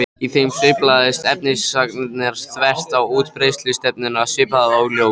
Í þeim sveiflast efnisagnirnar þvert á útbreiðslustefnuna svipað og ljós.